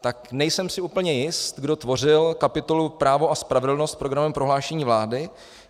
Tak nejsem si úplně jist, kdo tvořil kapitolu Právo a spravedlnost v programovém prohlášení vlády.